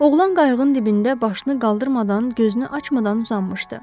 Oğlan qayığın dibində başını qaldırmadan, gözünü açmadan uzanmışdı.